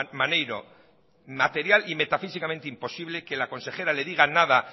maneiro material y metafísicamente imposible que la consejera le diga nada